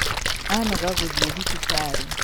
Anoga gũthiĩthibitarĩ.